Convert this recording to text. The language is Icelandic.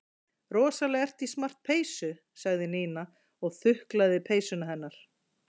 Rosalega ertu í smart peysu sagði Nína og þuklaði peysuna hennar.